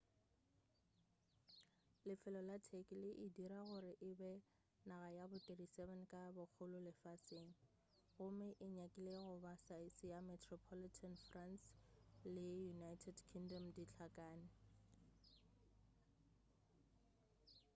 lefelo la turkey le e dira gore e be naga ya bo 37 ka bogolo lefaseng gomme e nyakile goba saese ya metropolitan france le united kingdom di hlakane